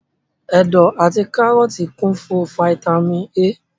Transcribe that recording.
Ẹ̀dọ̀ àti kárọ́tì kún fún fataímìn A.